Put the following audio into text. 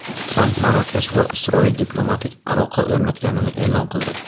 Tramp Marokash va Isroil diplomatik aloqa o‘rnatganini e’lon qildi.